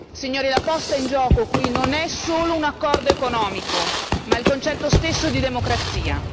Signori, la posta in gioco qui non è solo un accordo economico ma il concetto stesso di democrazia.